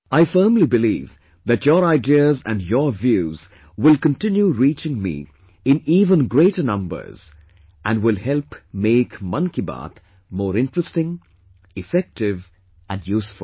I firmly believe that your ideas and your views will continue reaching me in even greater numbers and will help make Mann Ki Baat more interesting, effective and useful